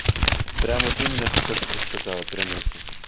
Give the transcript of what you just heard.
прямо вот именно то что ты сказала прям этим